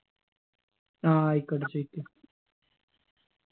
ആ ആയിക്കോട്ടെ ചോയിക്ക്